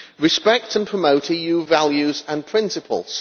respect and promote EU values and principles.